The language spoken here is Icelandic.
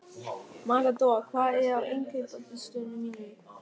Matador, hvað er á innkaupalistanum mínum?